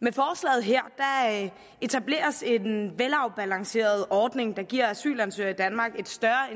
med forslaget her etableres en velafbalanceret ordning der giver asylansøgere i danmark et større